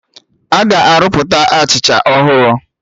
Aga arụpụta Achịcha ọhụrụ